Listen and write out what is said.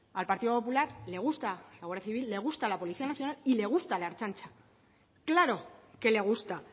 al partido popular le gusta la guardia civil le gusta la policía nacional y le gusta la ertzaintza claro que le gusta